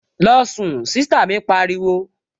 Losun! Sista mi pariwo